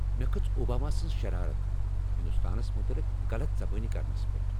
مےٚ کھژ اوباما سٕنز شرارت ہندوستانس متعلق غلط زبٲنی کرنس پیٹھ ۔